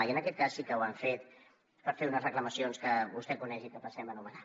i en aquest cas sí que ho han fet per fer unes reclamacions que vostè coneix i que passem a enumerar